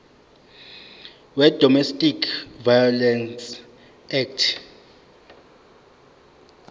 wedomestic violence act